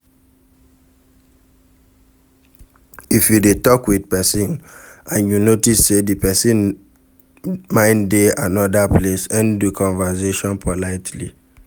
If you dey talk with person and you notice sey di person mind dey anoda place, end do conversation politely